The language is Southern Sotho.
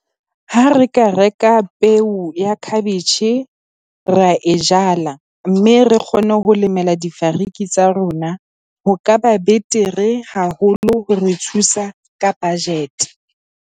Ha re ka reka peo ya cabbage ra e jala, mme re kgone ho lemela difariki tsa rona, ho ka ba betere haholo ho re thusa ka budget.